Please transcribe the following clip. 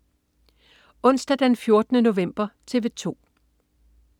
Onsdag den 14. november - TV 2: